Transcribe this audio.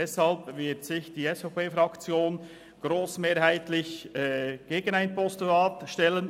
Deshalb wird sich die SVP-Fraktion grossmehrheitlich gegen ein Postulat stellen;